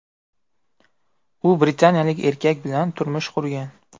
U britaniyalik erkak bilan turmush qurgan.